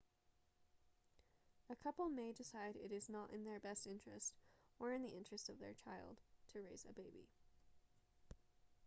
a couple may decide it is not in their best interest or in the interest of their child to raise a baby